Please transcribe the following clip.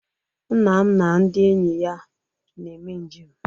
Nna m na ndị enyi ya na-eme njem